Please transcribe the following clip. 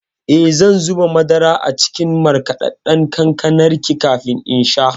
Eh, zan zuba madara a cikin markaɗaɗɗan kankanar kafin in sha.